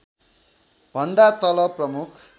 भन्दा तल प्रमुख